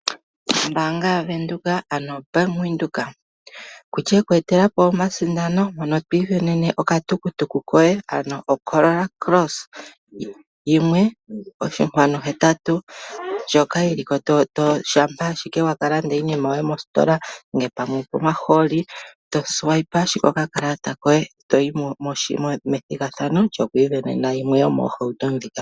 Ombaanga yaVenduka ano Bank Widhoek etelapo omasindano mono to isindanena okatukutuku koye ano o corolla cross 1.8 ,ndjoka yiliko shampa owala wakalanda iinima yoye moositola nenge pomahooli etofutu nokakalata koye toyi methigathano lyo ku isindanena yimwe yomoohauto ndhika.